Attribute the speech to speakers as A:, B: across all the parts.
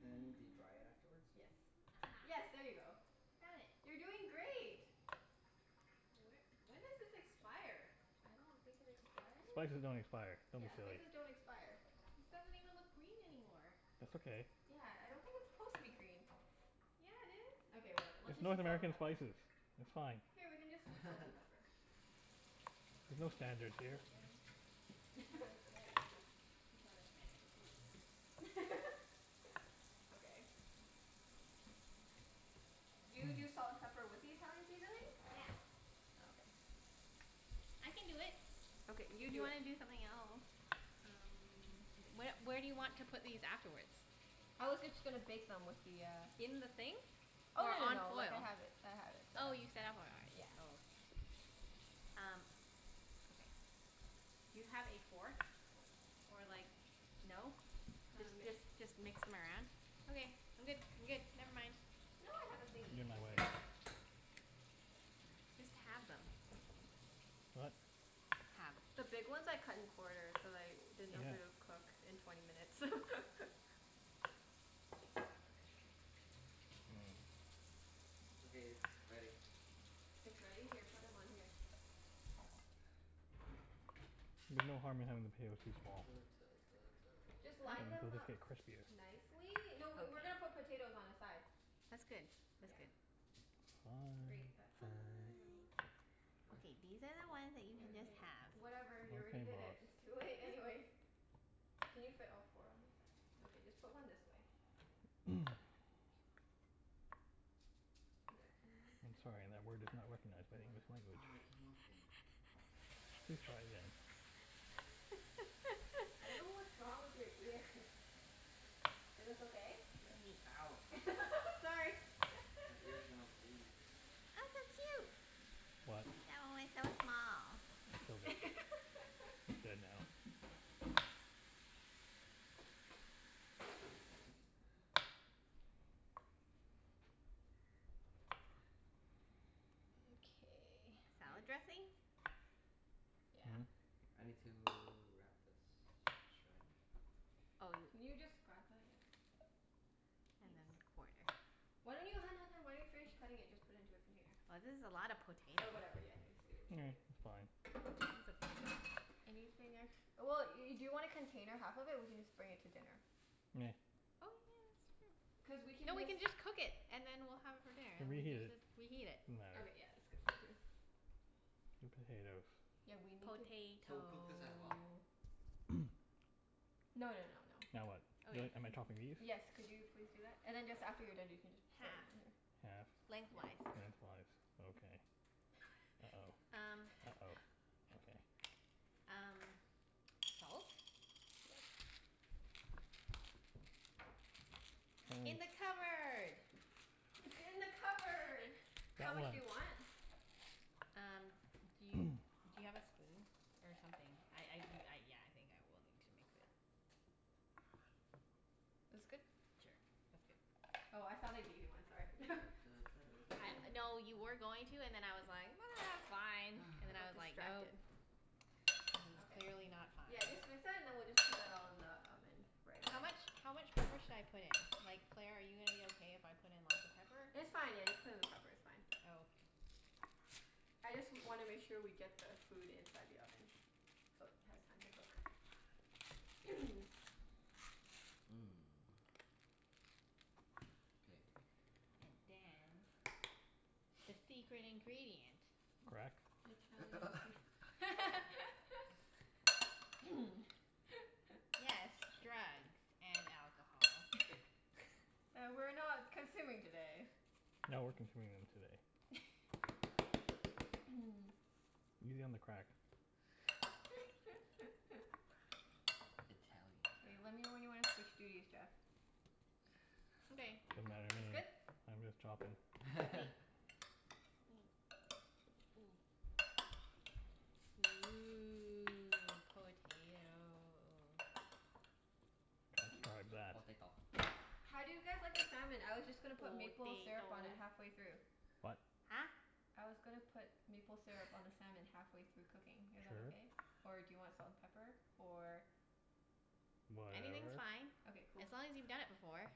A: And do you dry it afterwards?
B: Yes. Yes,
C: Aha.
B: there you go.
C: I found it.
B: You're doing great.
C: Wh- when does this expire?
B: I don't think it expires.
D: Spices don't expire. Don't be
B: Yeah,
D: silly.
B: spices don't expire.
C: This doesn't even look green anymore.
D: That's okay.
B: Yeah, I don't think it's supposed to be green.
C: Yeah, it is.
B: Okay whatever. Let's
D: It's
B: just
D: North
B: use salt and
D: American
B: pepper.
D: spices. It's fine.
B: Here, we can just use salt and pepper.
D: There's no
C: It's
D: standards
C: okay.
D: here.
C: Wait and this one looks better. This one looks better.
B: Okay. Do you do salt and pepper with the Italian seasoning?
C: Yeah.
B: Okay.
C: I can do it.
B: Okay,
C: If
B: you
C: you
B: do it.
C: wanna do something else?
B: Um
C: Wh- where do you want to put these afterwards?
B: I was just going to bake them with the uh
C: In the thing?
B: Oh
C: Or
B: no no
C: on
B: no, like I
C: foil?
B: have it, I have it set
C: Oh
B: up.
C: you set up already? Oh okay. Um okay. Do you have a fork, or like, no? Just
B: Um
C: just just mix them around? Okay, I'm good, I'm good. Never mind.
B: No I have a thingie.
D: You're in my
B: Just wait.
D: way.
C: Just halve them.
D: What?
C: Halve.
B: The big ones I cut in quarters, cuz I didn't know if they would
D: Okay.
B: cook in twenty minutes.
A: Okay, it's ready.
B: It's ready? Here, put them on here.
D: There's no harm in having the potatoes too small.
B: Just line them
D: They'll just
B: up
D: get crispier.
B: nicely.
C: Okay.
B: No, we we're going to put potatoes on the side.
C: That's good. That's
B: Yeah.
C: good.
D: Fine
B: Great. That
C: Fine.
B: side
D: fine.
B: of
A: What?
C: Okay, these are the ones that you
A: Oh
B: Yep,
C: can
A: yeah.
B: yeah
C: just
B: yeah.
C: halve.
B: Whatever, you already
D: Okay
B: did it. It's
D: boss.
B: too late anyways. Can you fit all four on this side? Okay, just put one this way. Yeah, can you move this
D: I'm
B: one?
D: sorry, that word is not
B: Yeah, good,
D: recognized by
B: good
D: the
B: work.
D: English language.
A: Aw it came off again.
D: Please try again.
B: I don't know what's wrong with your ears. Is this okay?
A: Yeah. Ow.
B: Sorry.
A: My ear's gonna bleed.
D: What? I killed it. It's dead now.
B: Okay.
A: Hey,
C: Salad dressing?
B: Yeah.
D: Hmm?
A: I need to wrap this in saran wrap.
C: Oh y-
B: Can you just grab that? Yeah.
C: And
B: Thanks.
C: then quarter.
B: Why don't you, hun hun hun. Why don't you finish cutting it and just put into a container?
C: This is a lot of potato.
B: Or whatever, yeah just leave it leave it leave
D: It's
B: it.
D: fine.
C: It's okay.
B: Anything ex- well, y- do you want to container half of it? We can just bring it to dinner.
D: Nah.
C: Oh yeah, that's true.
B: Cuz we
C: No,
B: can
C: we
B: just
C: can just cook it and then we'll have it for dinner
D: We'll
C: and
D: reheat
C: we
D: it.
C: can reheat it.
D: Doesn't matter.
B: Okay yeah, that's good point too.
D: The potatoes.
B: Yeah, we need to
A: So cook this as well?
C: Potato.
B: No no no no.
D: Now what? Am
C: Okay.
D: I am I chopping these?
B: Yes, could you please do that? And then just, after you're done you can just set them
C: Half.
B: on here.
D: Halfed. Lengthwise.
C: Lengthwise.
D: Okay. uh-oh
C: Um
D: uh-oh. Okay.
C: Um salt?
B: Yes.
C: In the cupboard.
B: It's in the cupboard. How
D: That
B: much
D: one.
B: do you want?
C: Um, do you, do you have a spoon or something? I I do, yeah, I think I will need to mix it.
B: This good?
C: Sure, that's good.
B: Oh I thought I gave you one. Sorry.
A: Da da da da
C: No,
A: da
C: you were
A: da
C: going to and
A: da
C: then I was like, ah it's fine. And
B: I
C: then I
B: got
C: was like, no.
B: distracted.
C: This is
B: Okay.
C: clearly not fine.
B: Yeah, just and then we'll just put that all in the oven right
C: How
B: away.
C: much, how much pepper should I put in? Like Claire, are you gonna be okay if I put in lots of pepper?
B: It's fine, yeah, just put in the pepper, it's fine.
C: Oh okay.
B: I just wanna make sure we get the food inside the oven so it has time to cook.
A: Mmm, K.
C: And dance, the secret ingredient.
D: Crack?
B: Italian sea-
C: Yes, drugs and alcohol.
B: That we're not consuming today.
D: No, we're consuming them today. Easy on the crack.
A: Italian
B: K, let me know when
A: crack.
B: you want to switch duties Jeff.
C: Okay.
D: Doesn't matter to
B: It's
D: me.
B: good?
D: I'm just chopping.
C: Ooh, potato.
D: that.
A: Potato.
B: How do you guys like the salmon? I was just gonna put maple syrup on it
C: Potato.
B: halfway through.
D: What?
C: Huh?
B: I was gonna put maple syrup on the salmon halfway through cooking. Is that
D: Sure.
B: okay? Or do you want salt and pepper? Or
C: Anything's
D: Whatever.
C: fine,
B: Okay, cool.
C: as long as you've done it before.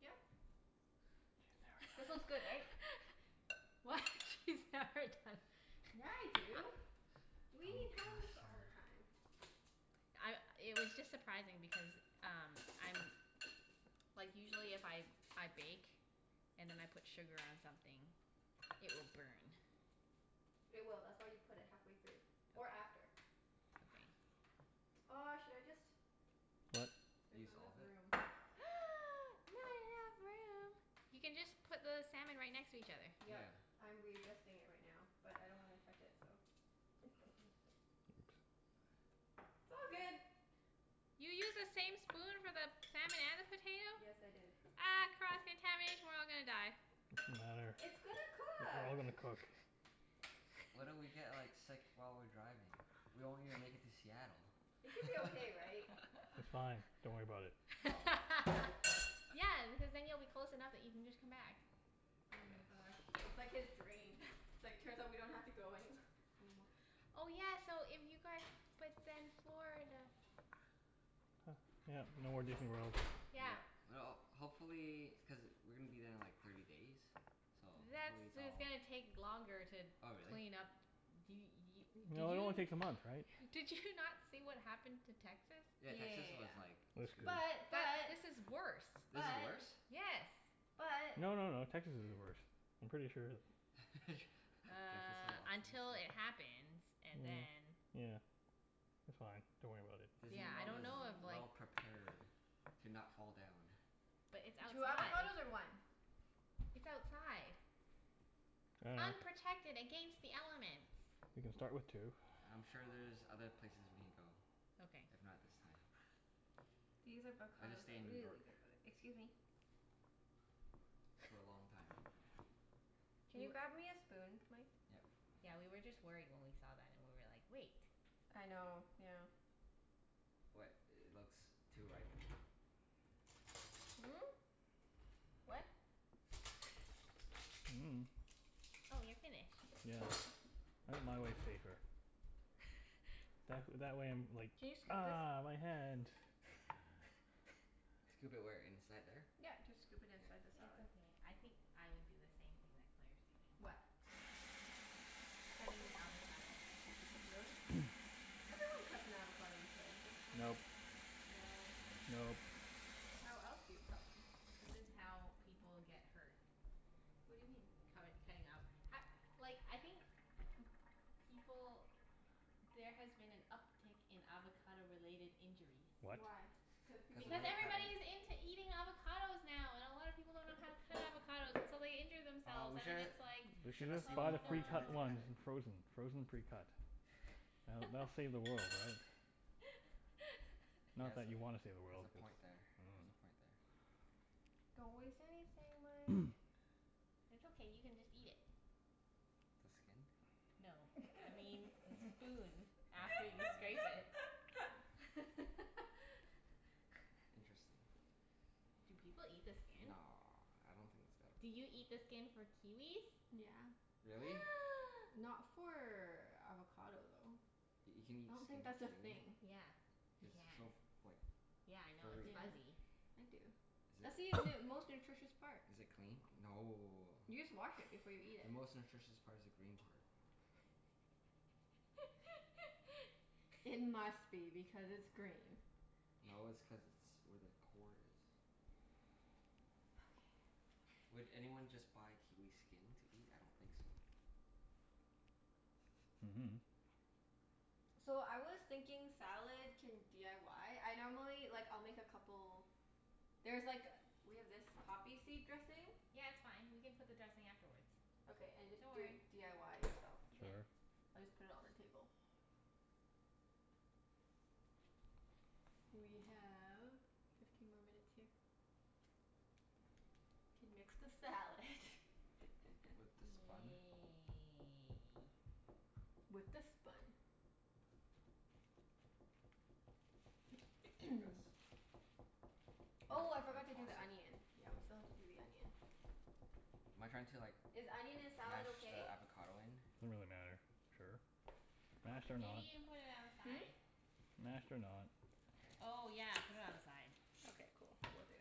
B: Yep.
D: She's
B: This
D: never
B: one's
D: done
B: good right?
D: it before.
C: What? She's never done?
B: Yeah I do. We eat
A: Don't cross
B: halibut all
A: her.
B: the time.
C: I, it was just surprising because um, I'm, like usually if I I bake and then I put sugar on something, it will burn.
B: It will. That's why you put it halfway through or
C: Okay.
B: after.
C: Okay.
B: Oh should I just,
D: What?
B: there's
A: Use
B: not enough
A: all of it?
B: room.
C: Not enough room? You can just put the salmon right next to each other.
B: Yep.
A: Yeah.
B: I'm readjusting it right now, but I don't want to touch it, so.
D: Oops.
B: It's all good.
C: You used the same spoon for the salmon and the potato?
B: Yes, I did.
C: Ah cross contamination. We're all gonna die.
D: It doesn't matter.
B: It's gonna
D: It's
B: cook.
D: all gonna cook.
A: What if we get like sick while we're driving? We won't even make it to Seattle.
B: It should be okay right?
D: It's fine. Don't worry about it.
C: Yeah, because then you'll be close enough that you can just come back.
B: Oh my
A: Yes.
B: gosh. That's like his dream. It's like, turns out we don't have to go anywh- anymore.
C: Oh yeah, so if you guys, but then Florida.
D: Yep. No more Disney World.
C: Yeah.
A: Yeah, well hopefully. Cuz we're going to be there in like thirty days, so
C: That's,
A: hopefully it's
C: it's
A: all
C: gonna take longer to
A: Oh really?
C: clean up. D- y- did
D: No, it
C: you
D: only takes a month right?
C: did you not see what happened to Texas?
A: Yeah, Texas
B: Yeah
A: was like
D: They're
B: yeah
A: screwed.
D: screwed.
B: yeah
C: This is
B: yeah.
C: worse.
A: This is
B: But.
A: worse?
B: But.
C: Yes.
B: But.
D: No no no.
B: But.
D: Texas is the worst. I'm pretty sure that
A: Jeff is so
C: Uh until it
A: optimistic.
C: happens and then
D: Yeah. It's fine. Don't worry about it.
A: Disney
C: Yeah, I
A: World
C: don't
A: is
C: know if like
A: well prepared to not fall down.
C: But it's
B: Two
C: outside.
B: avocados or one?
C: It's outside. Unprotected against the elements.
D: We can start with two.
A: I'm sure there's other places we can go,
C: Okay.
A: if not this time.
B: These
A: I'll just
B: avocados
A: stay
B: are
A: in New
B: really
A: York
B: good by the, excuse me.
A: for a long time.
B: Can
C: Do
B: you
C: you
B: grab me a spoon Mike?
A: Yep.
C: Yeah, we were just worried when we saw that and we were like, wait.
B: I know. Yeah.
A: What? It looks too ripe?
B: Hmm? What?
C: Oh you're finished.
D: Yeah. I think my way's safer. That wh- that way I'm like,
B: Can you scoop this?
D: ah, my hand.
A: Scoop it where? Inside there?
B: Yep. Just scoop it
A: K.
B: inside the
C: It's
B: salad.
C: okay. I think I would do the same thing that Claire's doing.
B: What?
C: Cutting the avocado.
B: Really? Yeah. Everyone cuts an avocado this way, don't don't they?
D: Nope.
C: No.
D: Nope.
B: How else do you cut one?
C: This is how people get hurt.
B: What do you mean?
C: Cutt- cutting up h- like I think people, there has been an uptake in avocado related injuries.
D: What?
B: Why? Cuz
A: Cuz
B: people
A: if
C: Because
B: like
A: we're cutting
C: everybody's into eating avocados now and a lot of people don't know how to cut avocados and so they injure
A: Oh
C: themselves,
A: we
C: and then
A: should,
C: it's like,
D: We
A: we should
D: should
A: have
D: have just
A: saved one
D: bought a
C: oh no.
A: for Junette
D: precut
A: to
D: one
A: cut it.
D: in frozen. Frozen precut. That'll that'll save the world, right? Not that you want to save the
A: Has
D: world,
A: a
D: cuz
A: point there. Has a point there.
B: Don't waste anything Mike.
C: It's okay, you can just eat it.
A: The skin?
C: No. I mean the spoon after you scrape
A: Oh.
C: it.
A: Interesting.
C: Do people eat the skin?
A: No, I don't think it's
C: Do you
A: edible.
C: eat the skin for kiwis?
B: Yeah.
A: Really?
B: Not for avocado though.
A: You can eat
B: I don't
A: skin
B: think that's
A: of a
B: a thing.
A: kiwi?
C: Yeah, you
A: It's so
C: can.
A: f- like
C: Yeah I know, it's
A: furry
B: Yeah.
A: though.
C: fuzzy.
B: I do.
A: Is
B: That's
A: it,
B: the most nutritious part.
A: is it clean? No.
B: You just wash it before you eat
A: The
B: it.
A: most nutritious part is the green part.
B: It must be because it's green.
A: No, it's cuz it's where the core is.
B: Okay
A: Would
B: okay.
A: anyone just buy kiwi skin to eat? I don't think so.
D: Mhm.
B: So I was thinking salad can d i y? I normally, like I'll make a couple. There's like, we have this poppy seed dressing?
C: Yeah, it's fine. We can put the dressing afterwards.
B: Okay and just
C: Don't
B: do it
C: worry.
B: d i y yourself.
D: Sure.
B: We'll just put it on the table. We have fifteen more minutes here. Can mix the salad.
A: With the spun?
C: Yay.
B: With the spun.
A: Like this?
B: Oh I forgot to do
A: toss it?
B: the onion. Yeah, we still have to do the onion.
A: Am I trying to like
B: Is onion in salad
A: mash the
B: okay?
A: avocado in?
D: Doesn't really matter. Sure. Mashed or
B: Okay.
C: Maybe
D: not.
C: you can put it on the
B: Hmm?
C: side?
D: Mashed or not.
A: Okay.
C: Oh yeah, put it on the side.
B: Okay, cool. Will do.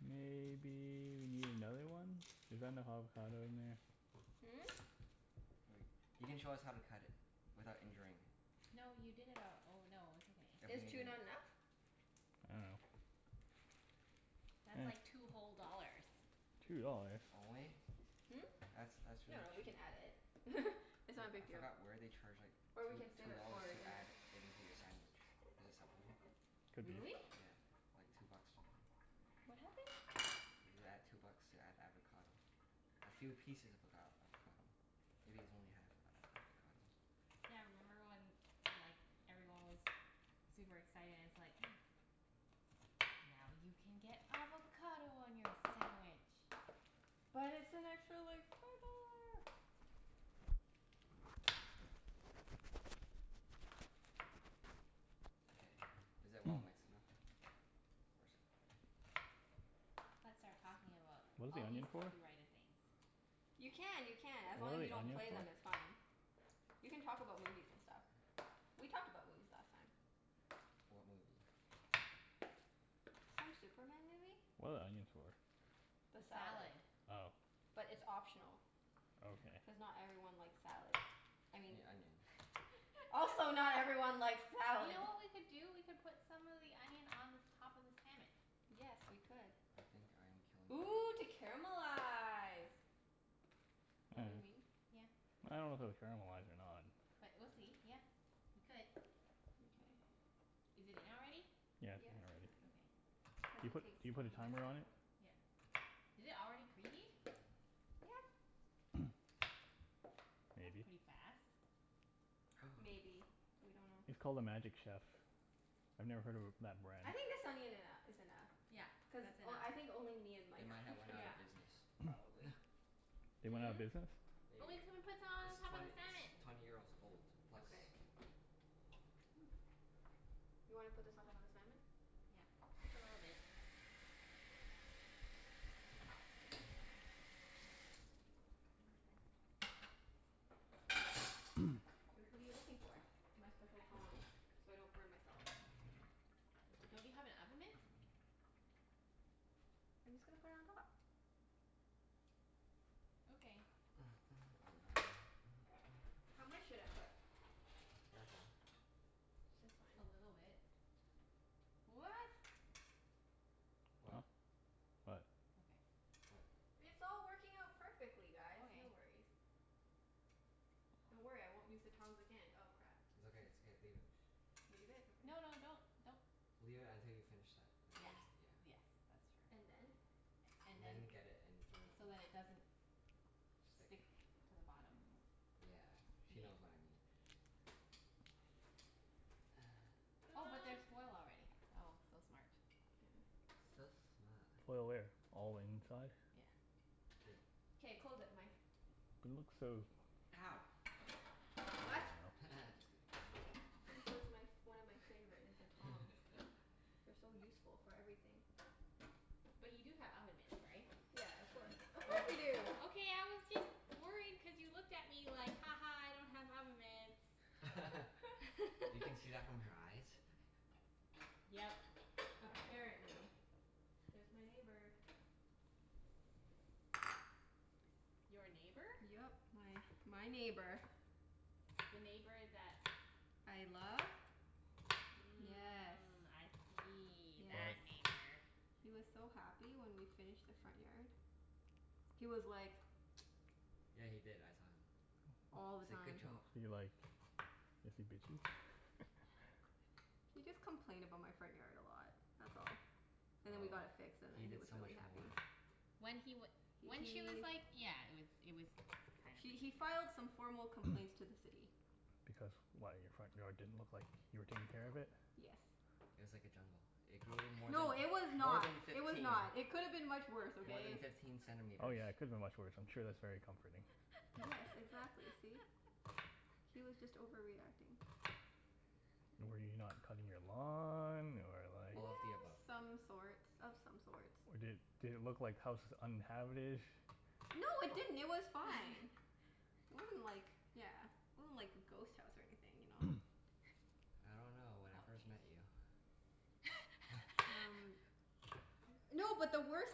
D: Maybe you need another one? Is that enough avocado in there?
B: Hmm?
A: Wait. You can show us how to cut it without injuring.
C: No you did it al- oh no, it's okay.
B: Is two not enough?
D: I dunno.
C: That's like two whole dollars.
D: Two dollars?
A: Only?
B: Hmm?
A: That's, that's really
B: No, we can
A: cheap.
B: add it. It's not
A: For-
B: a
A: I
B: big deal.
A: forgot where they charge like
B: Or we
A: two
B: can save
A: two
B: it for
A: dollars
B: our
A: to
B: dinner.
A: add it into your sandwich. Is it Subway?
D: Could be.
C: Really?
A: Yeah. Like two bucks or something.
B: What happened?
A: You add two bucks to add avocado. A few pieces of avocad- avocado. Maybe it's only half of an avocado.
C: Yeah, remember when like everyone was super excited and it's like, now you can get avocado on your sandwich.
B: But it's an extra like four dollar.
A: K, is it well mixed enough? Or s-
C: Let's start talking about
D: What is the
C: all these
D: onion for?
C: copyrighted things.
B: You
C: Just
B: can,
C: kidding.
B: you can. As
D: What
B: long
D: are
B: as you
D: the
B: don't
D: onions
B: play them
D: for?
B: it's fine. You can talk about movies and stuff. We talked about movies last time.
A: What movie?
B: Some Superman movie.
D: What are the onions for?
B: The
C: The
B: salad.
C: salad.
D: Oh.
B: But it's optional.
D: Okay.
B: Cuz not everyone likes salad. I
A: You
B: mean.
A: mean onion.
B: Also
C: You
B: not everyone likes salad.
C: know what we could do? We could put some of the onion on the top of the salmon.
B: Yes, we could.
A: I think I'm killing
B: Ooh to
A: this.
B: caramelize. Is that what you mean?
C: Yeah.
D: I don't know if it will caramelize or not.
C: But we'll see. Yeah, we could.
B: Mkay.
C: Is it in already?
D: Yeah, it's
B: Yeah,
D: in
B: it's in
D: already.
B: already.
C: Okay.
B: Cuz
D: Do you
B: it
D: put,
B: takes
D: do you put a
B: twenty minutes
D: timer
B: to
D: on it?
B: cook.
C: Yeah. Did it already preheat?
B: Yeah.
C: That's
D: Maybe.
C: pretty fast.
B: Maybe. We don't know.
D: It's called a Magic Chef. I've never heard of a that brand.
B: I think the salmon eno- is enough
C: Yeah,
B: cuz
C: that's enough.
B: o- I think only me and
A: They
B: Mike
A: might
B: like
A: have went
B: it
A: out
C: Yeah.
A: of business.
B: probably.
D: They went out
B: Hmm?
D: of business?
A: There you
C: But
A: go.
C: we can put some
A: It's
C: on top of
A: twent-
C: the
A: its
C: salmon.
A: twenty years old plus.
B: Okay. You wanna put this on top of the salmon?
C: Yeah. Just a little bit. What are you
B: Oops.
C: looking for?
B: My special tongs, so I don't burn myself.
C: Don't you have an oven mitt?
B: I'm just going to put it on top.
C: Okay.
B: How much should I put?
A: Careful.
B: It's fine.
C: A little bit. What?
A: What?
D: Oh? What?
C: Okay.
A: What?
B: It's all working out perfectly guys. No
C: Okay.
B: worries. Don't worry, I won't use the tongs again. Oh crap.
A: It's okay, it's okay. Leave it.
B: Leave it? Okay.
C: No no, don't, don't.
A: Leave it until you finish that and
C: Yeah.
A: then. Yeah.
C: Yes, that's true.
B: And then?
C: And
A: And
C: then.
A: then get it and throw it in the
C: So that it doesn't
A: Stick.
C: stick to the bottom.
A: Yeah. She knows what I mean.
C: Oh but there's foil already. Oh, so smart.
A: So smart.
D: Foil where? All the inside?
C: Yeah.
A: Good.
B: K, close it Mike.
D: But it looks so,
A: Ow.
D: I dunno.
B: What?
A: Just kidding.
B: This is my f- one of my favorite, is the tongs. They're so useful for everything.
C: But you do have oven mitts, right?
B: Yeah, of course. Of course we do.
C: Okay I was just worried cuz you looked at me like, ha ha I don't have oven mitts.
A: You can see that from her eyes?
C: Yep.
B: Apparently. There's my neighbor.
C: Your neighbor?
B: Yep. My my neighbor.
C: The neighbor that
B: I love? Yes.
C: Mm, I see. That
B: Yes.
D: That.
C: neighbor.
B: He was so happy when we finished the front yard. He was like
A: Yeah, he did. I saw him.
B: All
A: He
B: the
A: said, "Good
B: time.
A: job."
D: Is he like, is he bitchy?
B: He just complained about my front yard a lot, that's all. And then we
A: Oh,
B: got it fixed and
A: he
B: then he
A: did
B: was
A: so
B: really
A: much more.
B: happy.
C: When he w-
B: H-
C: when he was
B: he
C: like yeah. It was, it was kind of
B: he he
C: ridiculous.
B: filed some formal
D: Because,
B: complaints to the City.
D: why? Your front yard didn't look like you were taking care of it?
B: Yes.
A: It was like a jungle. It grew more than,
B: No, it was
A: more
B: not.
A: than
B: It was
A: fifteen,
B: not. It could have been much worse,
A: more than
B: okay?
A: fifteen
D: Oh
A: centimeters.
D: yeah, it could have been much worse. I'm sure that's very comforting.
B: Yes, exactly. See? He was just overreacting.
D: Were you not cutting your lawn or like
A: All of the above.
B: Some sorts. Of some sorts.
D: Or did, did it look like house was uninhabited?
B: No it didn't. It was fine. It wasn't like, yeah, it wasn't like a ghost house or anything, you know?
A: I don't know. When I first met you.
C: Okay.
B: Um. No, but the worst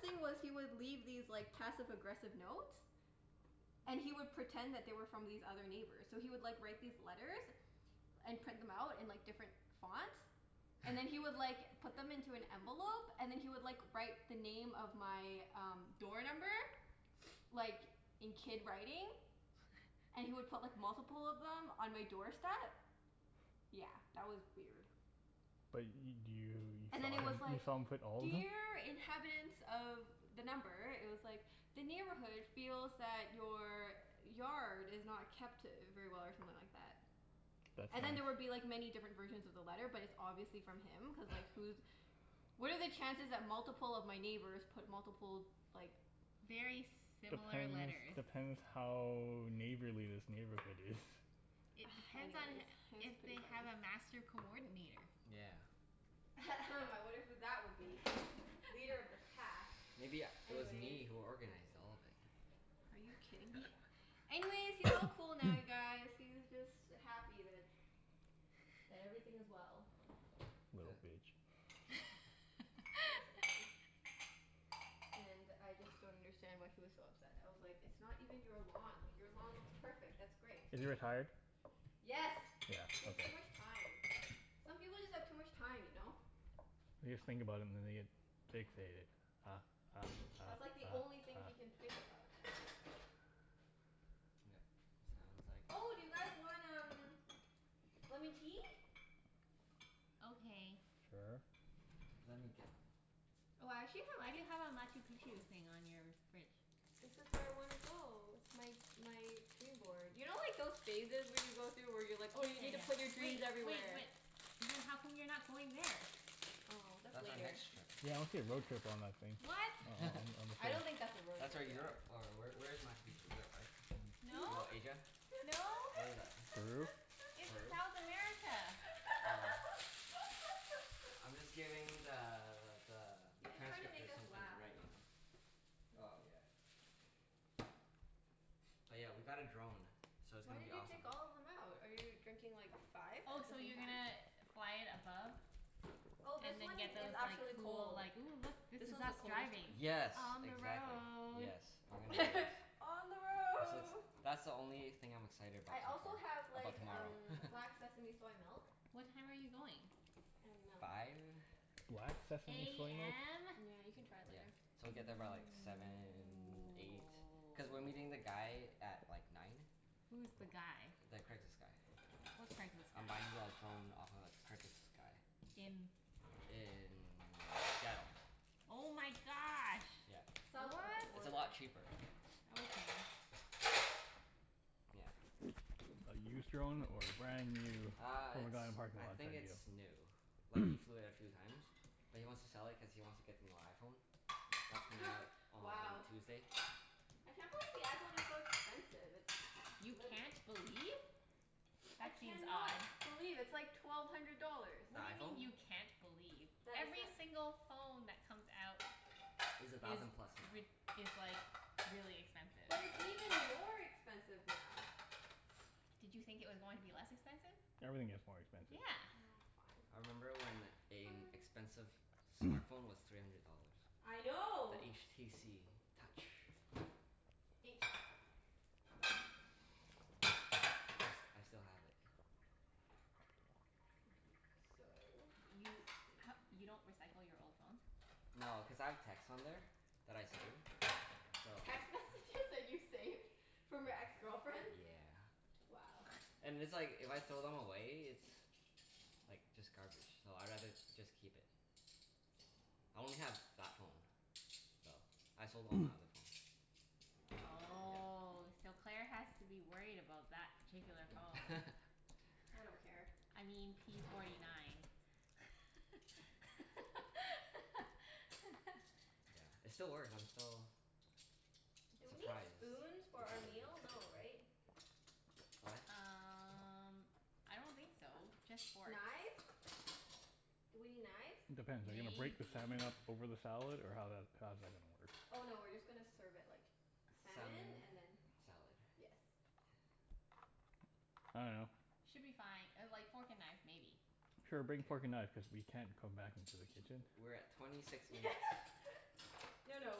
B: thing was, he would leave these like passive aggressive notes. And he would pretend that they were from these other neighbors. So he would like write these letters and print them out in like different fonts. And then he would like put them into an envelope and then he would like write the name of my um door number, like in kid writing. And he would put like multiple of them on my doorstep. Yeah, that was weird.
D: But y-
B: And
D: do
B: then
D: you,
B: it was
D: you saw him,
B: like,
D: you saw him put all of them?
B: "Dear inhabitants of" the number, it was like, "The neighborhood feels that your yard is not kept very well" or something like that.
D: That's
B: And then there would be
D: nice.
B: like many different versions of the letter but it's obviously from him, cuz like who's, what are the chances that multiple of my neighbors put multiple like
C: Very similar
D: Depends,
C: letters.
D: depends how neighborly this neighborhood is.
C: It depends on
B: Anyways, it was
C: if
B: pretty
C: they
B: funny.
C: have a master coordinator.
A: Yeah.
B: I wonder who that would be? Leader of the pack.
A: Maybe u- it was
B: Anyways.
A: me who organized all of it.
B: Are you kidding me? Anyways, he's all cool now you guys. He's just happy that, that everything is well.
A: Huh.
D: Little bitch.
B: Basically. And I just don't understand why he was so upset. I was like, it's not even your lawn. Like your lawn looks perfect. That's great.
D: Is he retired? Yeah,
B: Yes. He has too
D: okay.
B: much time. Some people just have too much time, you know?
D: They just think about it and then they get fixated. Ah ah ah ah
B: That's like the only thing he can think
D: ah.
B: about
A: Yep. Sounds like.
B: Oh, do you guys want um lemon tea?
C: Okay.
D: Sure.
A: Let me get them.
B: Oh, I actually have
C: Why do you have a Machu Picchu thing on your fridge?
B: This is where I wanna go. It's my my dream board. You know like those phases when you go through, where you're like
C: Oh
B: oh
C: yeah
B: you need to put your
C: yeah
B: dreams
C: yeah. Wait wait,
B: everywhere?
C: but then how come you're not going there?
B: Oh that's
A: That's our
B: later.
A: next trip.
D: Yeah road trip on that thing.
C: What?
D: On on
B: I don't think that's a
D: the
B: road
A: That's where
B: trip, yeah.
A: Europe or where where is Machu Picchu? Europe, right? No,
C: No.
A: Asia?
C: No.
A: Where is that?
D: Peru?
C: It's
A: Peru?
C: South America.
A: Oh. I'm just giving the the
B: He's just trying to make
A: transcriptor
B: us
A: something to
B: laugh.
A: write, you know?
B: That's
A: Oh
B: all.
A: yeah. Oh yeah, we got a drone, so it's
B: Why
A: gonna be
B: did you
A: awesome.
B: take all of them out? Are you drinking like five
C: Oh
B: at the
C: so
B: same
C: you're
B: time?
C: gonna fly it above?
B: Oh, this
C: And then
B: one
C: get
B: is
C: those like
B: actually
C: cool
B: cold.
C: like, "Ooh look, this
B: This
C: is
B: one's the
C: us
B: coldest
C: driving."
B: one.
A: Yes,
C: On the
A: exactly.
C: road.
A: Yes. We're gonna
B: On the
A: That's
B: road.
A: that's the only thing I'm excited about
B: I
A: so
B: also have
A: far,
B: like
A: about tomorrow.
B: um black sesame soy milk.
C: What time are you going?
B: And milk.
A: Five.
D: Black sesame soy milk?
C: AM?
B: Yeah, you can try it
A: Yeah.
B: later.
A: So we get there by like seven, eight. Cuz we're meeting the guy at like nine.
C: Who's the guy?
A: The Craigslist guy.
C: What Craigslist guy?
A: I'm buying the drone off of a Craigslist guy.
C: In
A: In Seattle.
C: Oh my gosh.
A: Yeah,
B: South of the
A: it's
C: What?
A: a
B: border.
A: lot cheaper.
C: Okay.
A: Yeah.
D: A used drone or a brand new
A: Uh
D: from a
A: it's,
D: guy in a parking
A: I
D: lot
A: think
D: kind
A: it's new.
D: of
A: Like he
D: deal?
A: flew it a few times. But he wants to sell it cuz he wants to get the new iPhone. That's coming out on
B: Wow.
A: Tuesday.
B: I can't believe the iPhone is so expensive. It's
C: You
B: literal.
C: can't believe?
B: I
C: That seems
B: can not
C: odd.
B: believe. It's like twelve hundred dollars.
A: The
C: What do you mean
A: iPhone?
C: you can't believe? Every single phone that comes out
A: Is a
C: is
A: thousand plus now.
C: rid- is like really expensive.
B: But it's even more expensive now.
C: Did you think it was going to be less expensive?
D: Everything gets more expensive.
C: Yeah.
B: Oh
A: I
B: fine.
A: remember when a
B: Fine.
A: expensive smart phone was three hundred dollars.
B: I know.
A: The HTC Touch.
C: H?
A: I s- I still have it.
B: So, let's
C: You
B: see.
C: h- you don't recycle your old phones?
A: No, cuz I have texts on there that I save, so.
B: Text messages that you saved from your ex-girlfriends?
A: Yeah.
B: Wow.
A: And it's like, if I throw them away it's like just garbage, so I'd rather just keep it. I only have that phone. So, I sold all my other phones.
C: Oh, so Claire has to that particular phone.
A: Yeah.
B: I don't care.
C: I mean p forty nine.
A: Yeah, it still works, I'm still
B: Do we need
A: surprised
B: spoons for
A: the
B: our
A: battery
B: meal? No,
A: has
B: right?
A: What?
C: Um I don't think so. Just forks.
B: Knives? Do we need knives?
D: Depends. Are you gonna break the
C: Maybe.
D: salmon up over the salad, or how that, how's that gonna
B: Oh
D: work?
B: no, we're just gonna serve it like salmon
A: Salmon.
B: and then.
A: Salad.
B: Yes.
D: I dunno.
C: Should be fine. Uh like fork and knife maybe.
D: Sure,
A: K.
D: bring fork and knife, cuz we can't come back into the kitchen.
A: We're at twenty six minutes.
B: No no,